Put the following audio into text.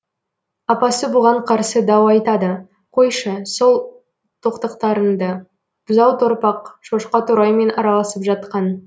апасы бұған қарсы дау айтады қойшы сол тоқтықтарыңды бұзау торпақ шошқа тораймен араласып жатқан